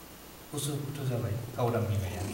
उसु - खुथु जाबाय गावदां बिमाया ।